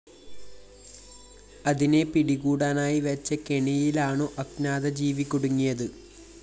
അതിനെ പിടികൂടാനായി വെച്ച കെണിയിലാണു അജ്ഞാത ജീവി കുടുങ്ങിയത്